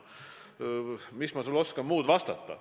Mis ma sulle oskan muud vastata.